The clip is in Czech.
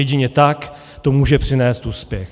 Jedině tak to může přinést úspěch.